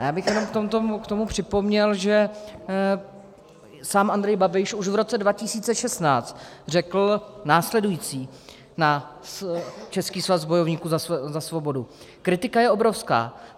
A já bych jenom k tomu připomněl, že sám Andrej Babiš už v roce 2016 řekl následující na Český svaz bojovníků za svobodu: Kritika je obrovská.